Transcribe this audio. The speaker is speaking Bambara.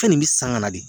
Fɛn nin bɛ san kana de